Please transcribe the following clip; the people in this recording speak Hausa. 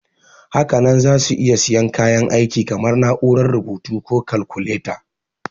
Hakanan za su iya siyan kayan aiki kamar na'urar rubutu ko kalkuleta.